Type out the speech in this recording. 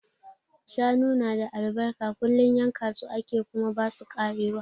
Shanu na da albarka, kullum yanka su ake kuma ba su karewa.